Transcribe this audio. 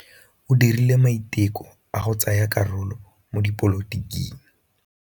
O dirile maitekô a go tsaya karolo mo dipolotiking.